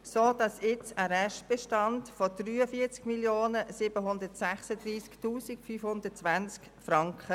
Es besteht ein Restbestand von 43 736 520 Franken.